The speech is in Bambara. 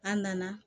An nana